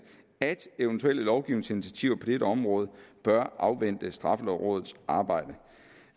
at eventuelle lovgivningsinitiativer på dette område bør afvente straffelovrådets arbejde